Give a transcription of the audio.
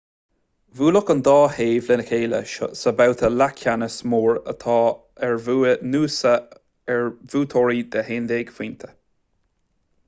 bhuailfeadh an dá thaobh le chéile sa bhabhta leathcheannais mór áit ar bhuaigh noosa ar bhuaiteoirí de 11 phointe